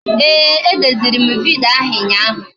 Ee, e deziri m vidyo ahụ ụnyaahụ